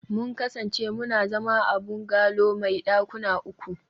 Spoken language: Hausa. mun kasance muna zama a bungalow mai dakuna uku